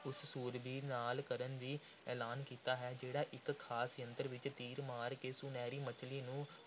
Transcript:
ਉਸ ਸੂਰਬੀਰ ਨਾਲ ਕਰਨ ਦਾ ਐਲਾਨ ਕੀਤਾ ਹੈ, ਜਿਹੜਾ ਇਕ ਖ਼ਾਸ ਯੰਤਰ ਵਿਚ ਤੀਰ ਮਾਰ ਕੇ ਸੁਨਹਿਰੀ ਮੱਛਲੀ ਨੂੰ